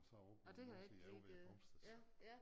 Og så op på æ nordside ovre ved æ pumpestation